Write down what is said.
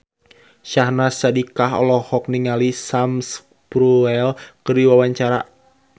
Syahnaz Sadiqah olohok ningali Sam Spruell keur diwawancara